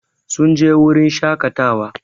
Sun je wurin shakatawa